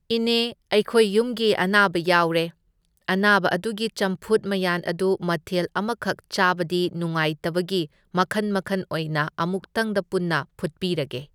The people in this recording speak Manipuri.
ꯏꯅꯦ ꯑꯩꯈꯣꯏ ꯌꯨꯝꯒꯤ ꯑꯅꯥꯕ ꯌꯥꯎꯔꯦ, ꯑꯅꯥꯕ ꯑꯗꯨꯒꯤ ꯆꯝꯐꯨꯠ ꯃꯌꯥꯟ ꯑꯗꯨ ꯃꯊꯦꯜ ꯑꯃꯈꯛ ꯆꯥꯕꯗꯤ ꯅꯨꯡꯉꯥꯏꯇꯕꯒꯤ ꯃꯈꯟ ꯃꯈꯟ ꯑꯣꯏꯅ ꯑꯃꯨꯛꯇꯪꯗ ꯄꯨꯟꯅ ꯐꯨꯠꯄꯤꯔꯒꯦ꯫